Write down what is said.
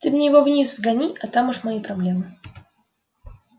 ты мне его вниз сгони а там уж мои проблемы